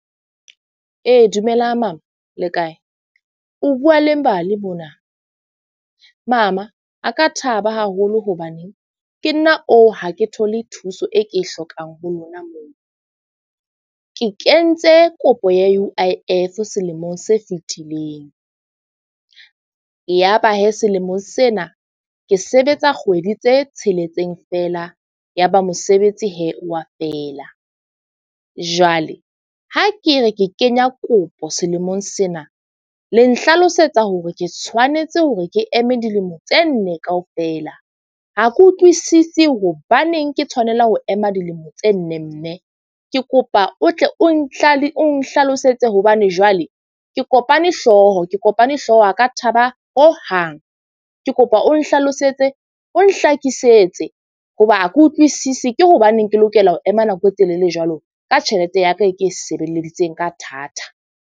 Ee, dumelang mama le kae? O bua le Mbali mona. Mama a ka thaba haholo hobane ke nna oo ha ke thole thuso e ke e hlokang ho lona moo. Ke kentse kopo ya U_I_F selemong se fitileng. Yaba selemong sena ke sebetsa kgwedi tse tsheletseng fela ya ba mosebetsi wa feela. Jwale ha ke re, ke kenya kopo selemong sena le nhlalosetsa hore ke tshwanetse hore ke eme dilemo tse nne kaofela. Ha ke utlwisisi, hobaneng ke tshwanela ho ema dilemo tse nne mme. Ke kopa o tle o o nhlalosetse hobane jwale ke kopane hlooho, ke kopane hlooho ha ka thaba hohang. Ke kopa o nhlalosetse o nhlakisetse hoba ha ke utlwisisi. Ke hobaneng ke lokela ho ema nako e telele jwalo ka tjhelete, ya ka e ke e sebeleditseng ka thata.